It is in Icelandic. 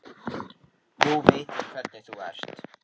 Nú veit ég hvernig þú ert!